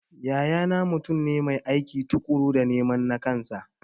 Yaya na mutum ne mai aiki tukuru dan neman nakansa